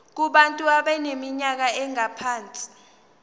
kubantu abaneminyaka engaphansi